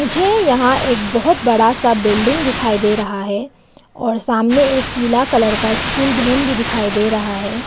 मुझे यहां एक बहोत बड़ा सा बिल्डिंग दिखाई दे रहा है और सामने एक पीला कलर का स्कूल बहन भी दिखाई दे रहा है।